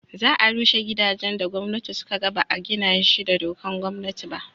za a rushe gidajen da gwamnati suka ga ba a gina shi da dokan gwamnati ba